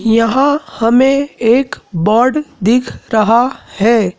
यहा हमें एक बोर्ड दिख रहा हैं।